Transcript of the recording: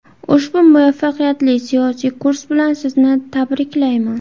Ushbu muvaffaqiyatli siyosiy kurs bilan Sizni tabriklayman.